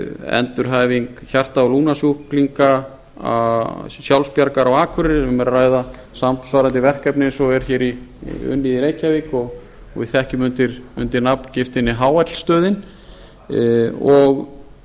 endurhæfing hjarta og lungnasjúklinga sjálfsbjargar á akureyri um er að ræða samsvarandi verkefni eins og er unnið í reykjavík og við þekkjum undir nafngiftinni hl stöðin í